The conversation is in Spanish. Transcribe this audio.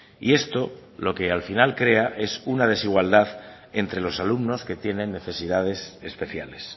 y esto lo que al final crea es una desigualdad entre los alumnos que tienen necesidades especiales